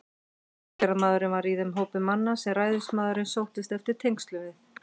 Útgerðarmaðurinn var í þeim hópi manna, sem ræðismaðurinn sóttist eftir tengslum við.